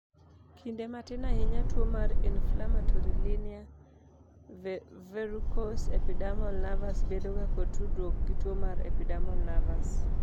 kinde matin ahinya tuo mar Inflammatory linear verrucous epidermal nevus bedoga kod tudruok gi tuo mar epidermal nevus